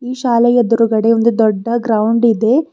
ಈ ಶಾಲೆಯ ಎದ್ರುಗಡೆ ಒಂದು ದೊಡ್ಡ ಗ್ರೌಂಡ್ ಇದೆ.